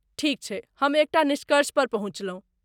ठीक छै, हम एकटा निष्कर्षपर पहुँचलहुँ।